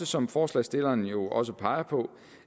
som forslagsstillerne jo også peger på